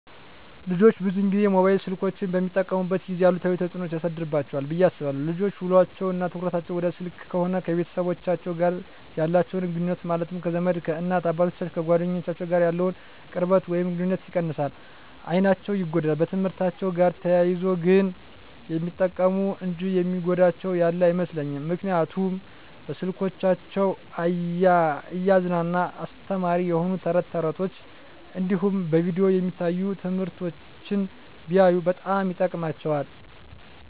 ልጆች ብዙን ጊዜ ሞባይል ስልኮችን በሚጠቀሙበት ጊዜ አሉታዊ ተፅዕኖ ያሳድርባቸዋል ብየ አስባለሁ። ልጆች ውሎቸው እና ትኩረታቸውን ወደ ስልክ ከሆነ ከቤተሰቦቻቸው ጋር ያላቸውን ግኑኙነት ማለትም ከዘመድ፣ ከእናት አባቶቻቸው፣ ከጓደኞቻቸው ጋር ያለውን ቅርበት ወይም ግኑኝነት ይቀንሳል፣ አይናቸው ይጎዳል፣ በትምህርትአቸው ጋር ተያይዞ ግን የሚጠቅሙ እንጂ የሚጎዳቸው ያለ አይመስለኝም ምክንያቱም በስልኮቻቸው እያዝናና አስተማሪ የሆኑ ተረት ተረቶች እንዲሁም በቪዲዮ የሚታዩ ትምህርቶችን ቢያዩ በጣም ይጠቅማቸዋል።